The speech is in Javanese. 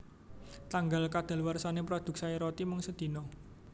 Tanggal kedaluarsane produk Sari Roti mung sedino